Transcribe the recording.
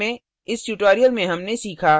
संक्षेप में इस tutorial में हमने सीखा